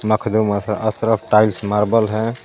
Makhdoom Ash Ashraf tiles marble hey.